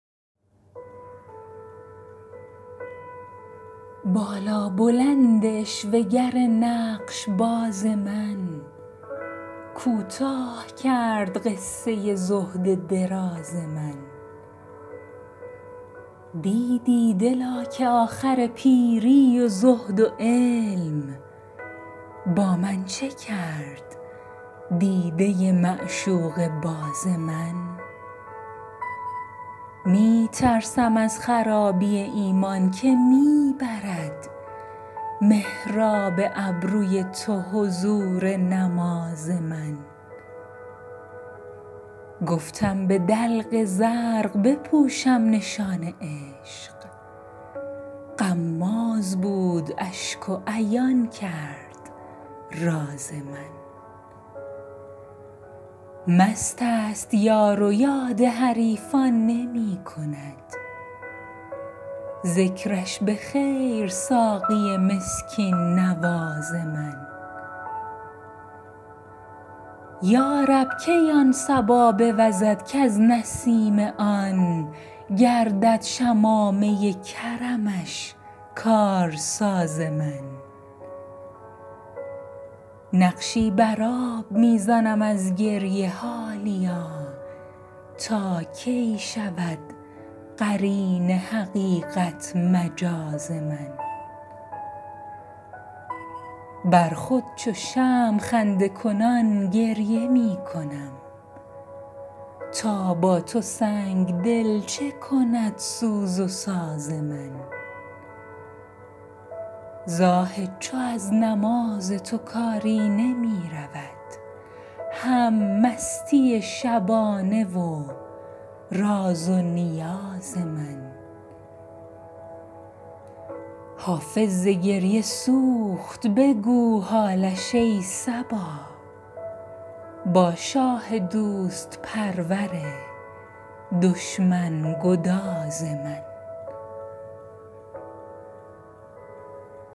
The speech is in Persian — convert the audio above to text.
بالابلند عشوه گر نقش باز من کوتاه کرد قصه زهد دراز من دیدی دلا که آخر پیری و زهد و علم با من چه کرد دیده معشوقه باز من می ترسم از خرابی ایمان که می برد محراب ابروی تو حضور نماز من گفتم به دلق زرق بپوشم نشان عشق غماز بود اشک و عیان کرد راز من مست است یار و یاد حریفان نمی کند ذکرش به خیر ساقی مسکین نواز من یا رب کی آن صبا بوزد کز نسیم آن گردد شمامه کرمش کارساز من نقشی بر آب می زنم از گریه حالیا تا کی شود قرین حقیقت مجاز من بر خود چو شمع خنده زنان گریه می کنم تا با تو سنگ دل چه کند سوز و ساز من زاهد چو از نماز تو کاری نمی رود هم مستی شبانه و راز و نیاز من حافظ ز گریه سوخت بگو حالش ای صبا با شاه دوست پرور دشمن گداز من